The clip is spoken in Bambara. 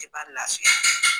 I parilasui